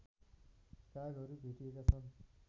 कागहरू भेटिएका छन्